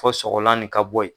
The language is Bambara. Fɔ sɔgɔla nin ka bɔ ye.